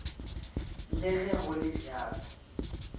le ge go le bjalo